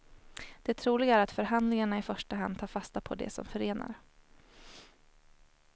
Det troliga är att förhandlingarna i första hand tar fasta på det som förenar.